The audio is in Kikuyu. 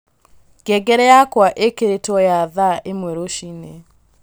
ngengere yakwa īkīrītwo ya thaa īmwe rūcinī